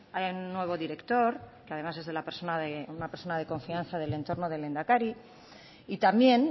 haya un nuevo director que además es de la persona es una persona de confianza del entorno del lehendakari y también